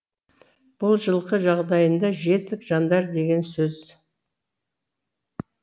бұл жылқы жағдайында жетік жандар деген сөз